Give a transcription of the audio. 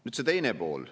Nüüd see teine pool.